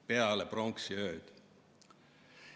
Peale pronksiööd!